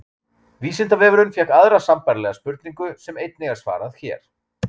Vísindavefurinn fékk aðra sambærilega spurningu sem einnig er svarað hér.